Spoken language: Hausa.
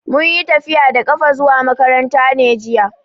Mun yi tafiya da ƙafa zuwa makaranta ne jiya.